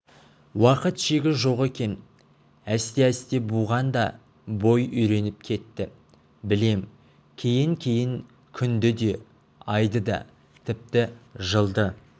уақыт шегі жоқ екен әсте-әсте буған да бой үйреніп кетті білем кейін-кейін күнді де айды да тіпті жылды